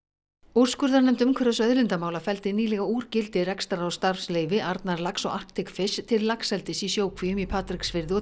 úrskurðarnefnd umhverfis og auðlindamála felldi nýlega úr gildi rekstrar og starfsleyfi Arnarlax og Arctic til laxeldis í sjókvíum í Patreksfirði og